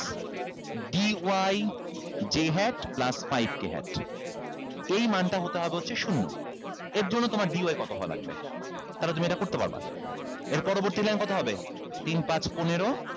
d y j hat plus five k hat এই মানটা হতে হবে হচ্ছে শূন্য এর জন্য তোমার d y কত হওয়া লাগবে তাহলে তুমি এটা করতে পারবা এর পরবর্তী line কত হবে তিন পাঁচ পনেরো